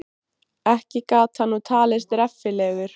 Ekki gat hann nú talist reffilegur.